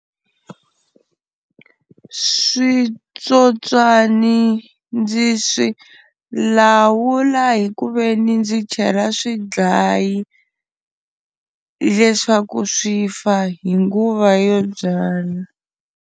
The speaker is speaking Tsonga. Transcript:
Switsotswani ndzi swi lawula hi ku veni ndzi chela swidlayi leswaku swi fa hi nguva yo byala.